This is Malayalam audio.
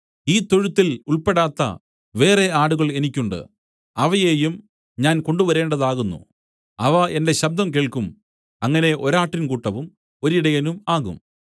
ഈ തൊഴുത്തിൽ ഉൾപ്പെടാത്ത വേറെ ആടുകൾ എനിക്ക് ഉണ്ട് അവയെയും ഞാൻ കൊണ്ടുവരേണ്ടതാകുന്നു അവ എന്റെ ശബ്ദം കേൾക്കും അങ്ങനെ ഒരാട്ടിൻ കൂട്ടവും ഒരിടയനും ആകും